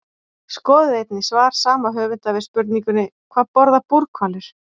Skoðið einnig svar sama höfundur við spurningunni Hvað borða búrhvalir?